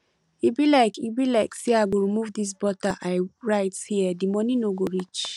e be like e be like say i go remove dis butter i write here the money no go reach